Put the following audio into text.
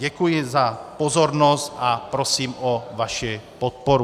Děkuji za pozornost a prosím o vaši podporu.